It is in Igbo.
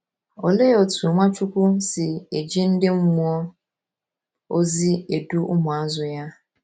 Olee otú Nwachukwu si eji ndị mmụọ ozi edu ụmụazụ ya?